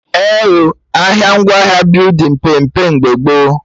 Eh oo, ahịa ngwaahịa building pee mpe mgbe gboo